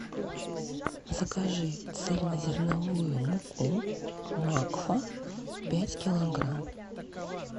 закажи цельнозерновую муку макфа пять килограмм